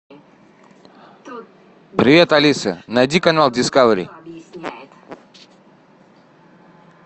привет алиса найди канал дискавери